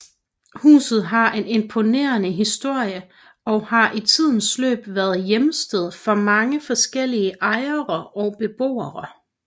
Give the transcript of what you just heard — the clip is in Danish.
Huset har en imponerende historie og har i tidens løb været hjemsted for mange forskellige ejere og beboere